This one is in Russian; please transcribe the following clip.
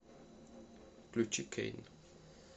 включи кейн